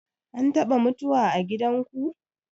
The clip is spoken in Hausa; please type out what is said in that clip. An taɓa mutuwa a gidanku?